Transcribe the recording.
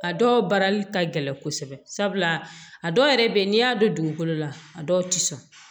A dɔw baarali ka gɛlɛn kosɛbɛ sabula a dɔw yɛrɛ bɛ yen n'i y'a don dugukolo la a dɔw tɛ sɔn